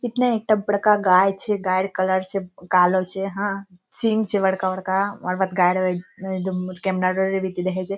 इ ने एकटा बड़का गाय छै डेयर कलर छै कालो छै हां सिंह छै बड़का-बड़का ओकर बाद गाय --